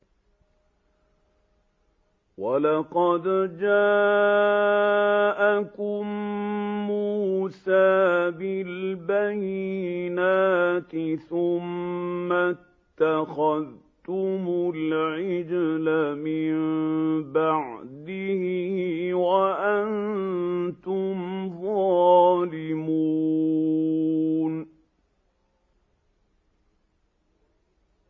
۞ وَلَقَدْ جَاءَكُم مُّوسَىٰ بِالْبَيِّنَاتِ ثُمَّ اتَّخَذْتُمُ الْعِجْلَ مِن بَعْدِهِ وَأَنتُمْ ظَالِمُونَ